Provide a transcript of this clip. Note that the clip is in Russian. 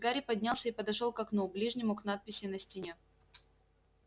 гарри поднялся и подошёл к окну ближнему к надписи на стене